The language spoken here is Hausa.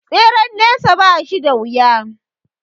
Tseren nesa ba shi da wuya